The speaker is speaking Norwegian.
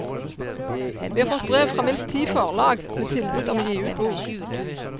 Vi har fått brev fra minst ti forlag med tilbud om å gi ut bok.